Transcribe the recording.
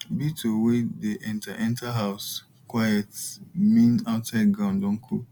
beetle wey dey enter enter house quiet mean outside ground don cool